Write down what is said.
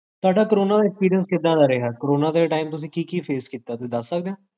ਤੁਹਾਡਾ ਕੋਰੋਨਾ ਦਾ ਪੀਰਿਇਡ ਕਿਦਾਂ ਦਾ ਰਿਹਾ? ਕੋਰੋਨਾ ਦੇ time ਤੁਸੀਂ ਕੀ ਕੀ face ਕੀਤਾ? ਕੀ ਤੁਸੀਂ ਦਸ ਸਕਦੇ ਹੋ?